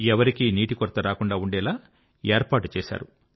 ఎవరికీ నీటి కొరత రాకుండా ఉండేలా ఏర్పాటు చేశారు